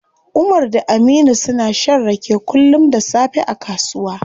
Umar da Aminu suna shan rake kullum da safe a kasuwa.